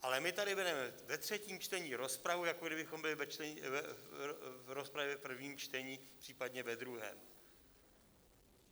Ale my tady vedeme ve třetím čtení rozpravu, jako kdybychom byli v rozpravě v prvním čtení, případně ve druhém.